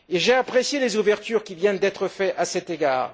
J'ai apprécié les ouvertures qui viennent d'être faites à cet égard.